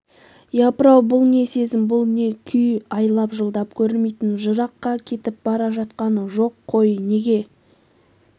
япыр-ау бұл не сезім бұл не күй айлап-жылдап көрмейтін жыраққа кетіп бара жатқан жоқ қой неге